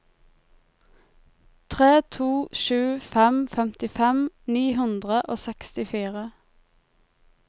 tre to sju fem femtifem ni hundre og sekstifire